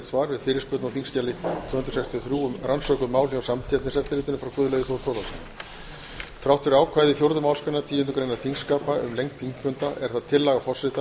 svar við fyrirspurn á þingskjali tvö hundruð sextíu og þrjú um rannsökuð mál hjá samkeppniseftirlitinu frá guðlaugi þór þórðarsyni þrátt fyrir ákvæði fjórðu málsgreinar tíundu greinar þingskapa um lengd þingfunda er það tillaga forseta að